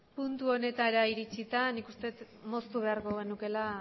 puntu honetara iritsita nik uste dut moztu beharko genukeela